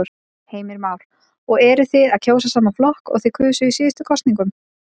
Heimir Már: Og eruð þið að kjósa sama flokk og þið kusuð í síðustu kosningum?